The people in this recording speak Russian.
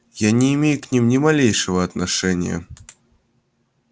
я не имею к ним ни малейшего отношения